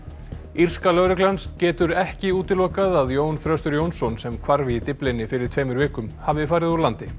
írska lögreglan getur ekki útilokað að Jón Þröstur Jónsson sem hvarf í Dyflinni fyrir tveimur vikum hafi farið úr landi